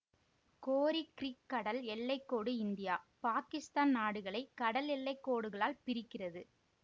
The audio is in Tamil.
கோரி கிரீக் கடல் எல்லை கோடு இந்தியா பாகிஸ்தான் நாடுகளை கடல் எல்லை கோடுகளால் பிரிக்கிறது